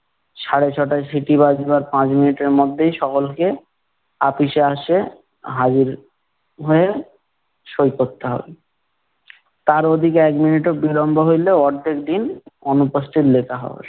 সাড়ে ছ'টায় সিটি বাজবার পাঁচ মিনিটের মধ্যে সকলকে, আপিসে আসে, হাজির হয়ে, সই করতে হবে। তার ওদিকে এক মিনিটও বিড়ম্ব হইলে অর্ধেক দিন অনুপস্থিত লেখা হবে।